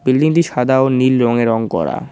বিল্ডিংটি সাদা ও নীল রঙে রং করা।